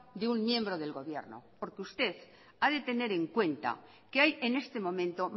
de un miembro del gobierno porque usted ha de tener en cuenta que hay en este momento